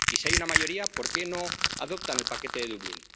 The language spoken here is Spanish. Y, si hay una mayoría, ¿por qué no adoptan el paquete de Dublín?